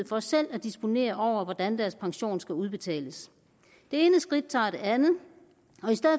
for selv at disponere over hvordan deres pension skal udbetales det ene skridt tager det andet